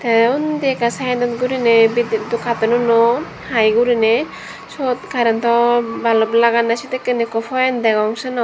tay undi eka sitedodi goriney bidudot katonunot hi gorinaie swot carantow balab laganey sedikken poent degong senot.